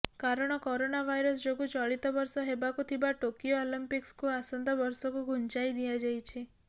କାରଣ corona virus ଯୋଗୁ ଚଳିତ ବର୍ଷ ହେବାକୁ ଥିବା ଟୋକିଓ ଅଲିମ୍ପିକ୍ସକୁ ଆସନ୍ତା ବର୍ଷକୁ ଘୁଞ୍ଚାଇ ଦିଆଯାଇଛି